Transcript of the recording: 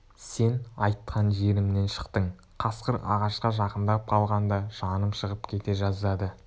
сен айтқан жерімнен шықтың қасқыр ағашқа жақындап қалғанда жаным шығып кете жаздады